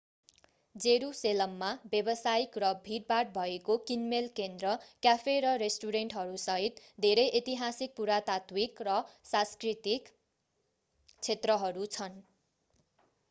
जेरूसेलममा व्यवसायिक र भीडभाड भएको किनमेल केन्द्र क्याफे र रेस्टुरेन्टहरूसहित धेरै ऐतिहासिक पुरातात्विक र सांस्कृतिक क्षेत्रहरू छन्